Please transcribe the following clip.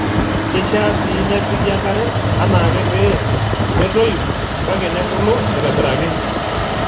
Keishaa sii nepiki enkare anaake pee metoyu kake nebulu aaitobiraki.